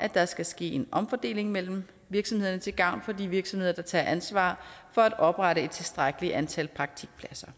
at der skal ske en omfordeling mellem virksomhederne til gavn for de virksomheder der tager ansvar for at oprette et tilstrækkeligt antal praktikpladser